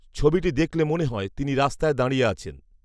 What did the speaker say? ছবিটি দেখলে মনে হয় তিনি রাস্তায় দাঁড়য়ে আছেন